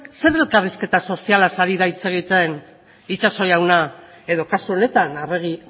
zer elkarrizketa sozialaz ari da hitz egiten itxaso jauna edo kasu honetan arregi